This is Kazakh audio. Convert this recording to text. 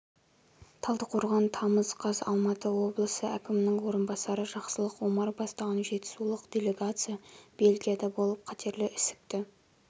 талдықорған тамыз қаз алматы облысы әкімінің орынбасары жақсылық омар бастаған жетісулық делегация бельгияда болып қатерлі ісікті